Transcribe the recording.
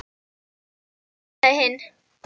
Aftur á móti ansaði hinn: